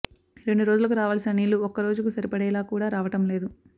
రెండు రోజులకు రావాల్సిన నీళ్లు ఒక్క రోజుకు సరిపడేలా కూడా రావడం లేదు